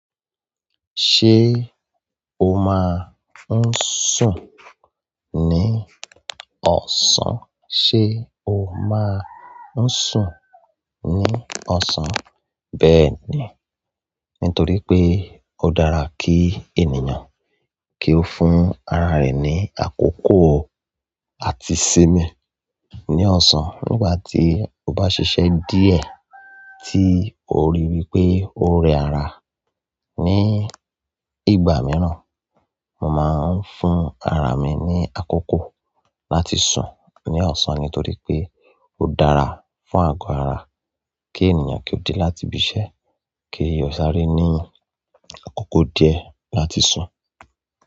Ṣé o máa ń sùn ní ọ̀sán? Ṣé o máa ń sùn ní ọ̀sán? Bẹ́ẹ̀ ni. Nítorí pé ó dára kí ènìyàn kí ó fún ara rẹ̀ ní àkókò àti sinmi ní ọ̀sán nígbà tí ó bá ṣiṣẹ́ díẹ̀ tí o rí wípé ó rẹ ara ní ìgbà mìíràn. Mo máa ń fún ara mi ní àkókò láti sùn ní ọ̀sán nítorí pé ó dára fún àgọ́ ara kí ènìyàn kí ó dé láti bí iṣẹ́ kí ó sáré ní àkókò díẹ̀ láti sùn.